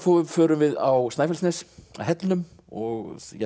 förum við á Snæfellsnes að hellnum og